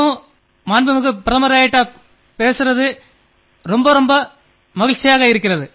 மதிப்பிற்குரிய பிரதமர் அவர்களே உங்களோடு பேசியது எனக்கும் மிக்க மகிழ்ச்சி